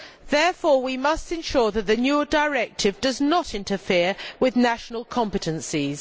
Therefore, we must ensure that the new directive does not interfere with national competences.